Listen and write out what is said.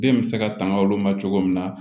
Den bɛ se ka tanga olu ma cogo min na